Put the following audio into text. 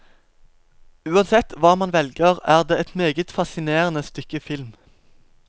Uansett hva man velger, er det et meget fascinerende stykke film.